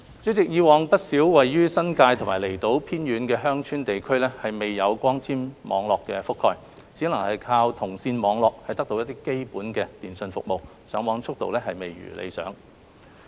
主席，以往，不少位於新界和離島偏遠的鄉村地區未有光纖網絡覆蓋，只能靠銅線網絡得到基本的電訊服務，上網速度未如理想。